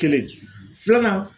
Kelen, filanan